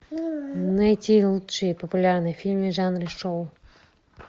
найти лучшие популярные фильмы в жанре шоу